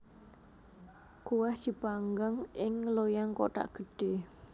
Kuweh dipanggang ing loyang kothak gedhe